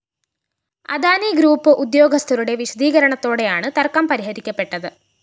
Adani group ഉേദ്യാഗസ്ഥരുടെ വിശദീകരണത്തോടെയാണ് തര്‍ക്കം പരിഹരിക്കപ്പെട്ടത്